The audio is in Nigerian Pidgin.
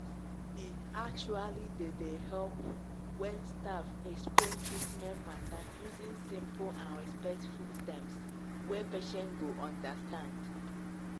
e actually dey dey help when staff explain treatment matter using simple and respectful terms wey patient go understand.